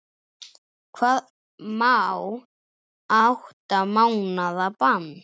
Hvað um átta mánaða bann?